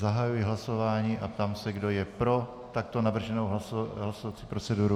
Zahajuji hlasování a ptám se, kdo je pro takto navrženou hlasovací proceduru.